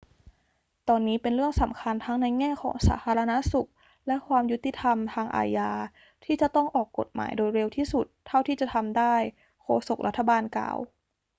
ตอนนี้เป็นเรื่องสำคัญทั้งในแง่ของสาธารณสุขและความยุติธรรมทางอาญาที่จะต้องออกกฎหมายโดยเร็วที่สุดเท่าที่จะทำได้ โฆษกรัฐบาลกล่าว